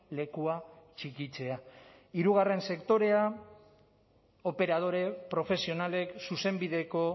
lekua txikitzea hirugarren sektorea operadore profesionalek zuzenbideko